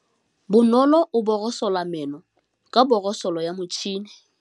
Bonolô o borosola meno ka borosolo ya motšhine.